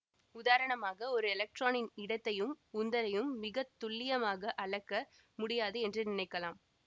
உதாரணமாக ஒரு எலக்ட்ரானின் இடத்தையும் உந்தலையும் மிகத்துல்லியமாக அளக்க முடியாது என்று நினைக்கலாம்